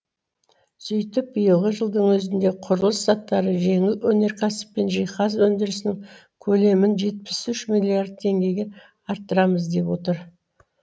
сөйтіп биылғы жылдың өзінде құрылыс заттары жеңіл өнеркәсіп пен жиһаз өндірісінің көлемін жетпіс үш миллиард теңгеге арттырамыз деп отыр